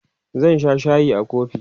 zan Sha shayi a kofi